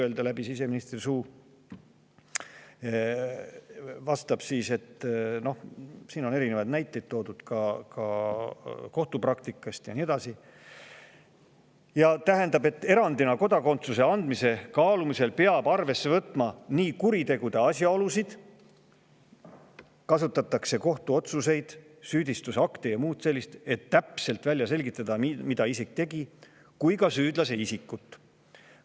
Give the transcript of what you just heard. vastas – siin on toodud ka erinevaid näiteid kohtupraktikast ja nii edasi –, et erandina kodakondsuse andmise kaalumisel peab arvesse võtma kuriteo asjaolusid, kohtuotsuseid, süüdistusakte ja muud sellist – et täpselt välja selgitada, mida isik tegi – kui ka süüdlase isikut.